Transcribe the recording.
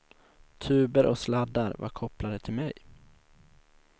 Tuber och sladdar var kopplade till mig.